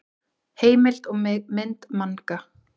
Heimild og mynd Manga.